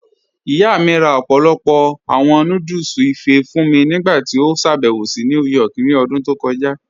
Iyá mi rá ọ̀pọ̀lọ́pọ̀ awọn núdúlù ìfé́ fún mí nígbàtí ó ṣàbẹ̀wò sí New York ní òdún tó kọja.